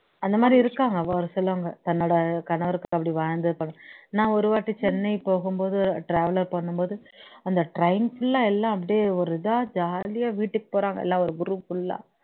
அந்த மாதிரி இருக்காங்க ஒரு சிலவங்க தன்னோட கணவருக்கு அப்படி வாழ்ந்துருப்பாங்க நான் ஒருவாட்டி சென்னை போகும்போது travel பண்ணும்போது அந்த train full ஆ எல்லாம் அப்படியே ஒரு இதா ஜாலியா வீட்டுக்கு போறாங்க எல்லாம் ஒரு group fulla ஆ